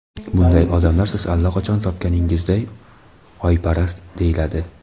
Bunday odamlar, siz allaqachon topganingizday, oyparast deyiladi.